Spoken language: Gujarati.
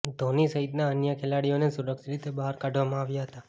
ધોની સહિતના અન્ય ખેલાડીઓને સુરક્ષિત રીતે બહાર કાઢવામાં આવ્યા હતા